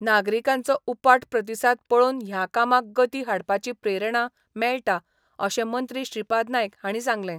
नागरिकांचो उपाट प्रतिसाद पळोवन ह्या कामाक गती हाडपाची प्रेरणा मेळटा अशें मंत्री श्रीपाद नायक हांणी सांगलें.